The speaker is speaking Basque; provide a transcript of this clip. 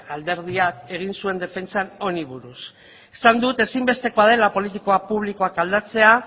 alderdiak egin zuen defentsan honi buruz esan dut ezinbestekoa dela politika publikoak aldatzea